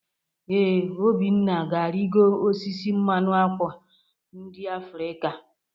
Ee, Obinna na-arịgo osisi mmanụ ákwà ndị Afrịka.